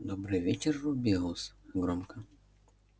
добрый вечер рубеус громко